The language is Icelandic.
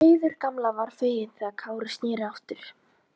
Heiður gamla var fegin þegar Kári sneri aftur.